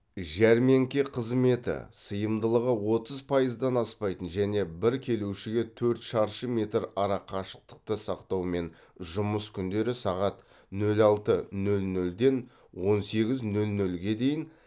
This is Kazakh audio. жәрмеңке қызметі сыйымдылығы отыз пайыздан аспайтын және бір келушіге төрт шаршы метр арақашықтықты сақтаумен жұмыс күндері сағат нөл алты нөл нөлден он сегіз нөл нөлге дейін